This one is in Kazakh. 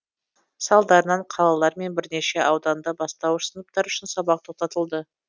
салдарынан қалалар мен бірнеше ауданда бастауыш сыныптар үшін сабақ тоқтатылды